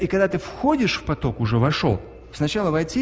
и когда ты входишь в поток уже вошёл сначала войти